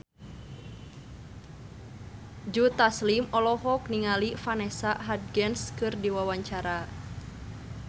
Joe Taslim olohok ningali Vanessa Hudgens keur diwawancara